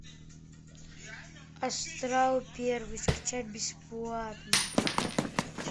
астрал первый скачать бесплатно